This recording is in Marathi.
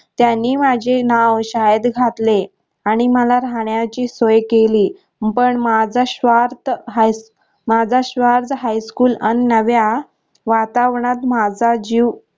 त्यांनी माझे नाव शाळेत घातले आणि मला राहण्याची सोय केली पण माझा श्वास माझा श्वास high school अन नव्या वातावरणात माझा जीव